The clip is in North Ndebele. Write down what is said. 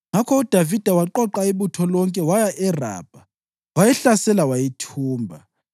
Ngakho uDavida waqoqa ibutho lonke waya eRabha, wayihlasela wayithumba.